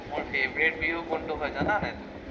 মোৰ favourite বিহু কোনটো হয়, জানা নাই তুমি?